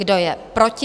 Kdo je proti?